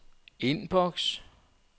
indboks